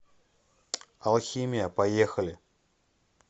алхимия поехали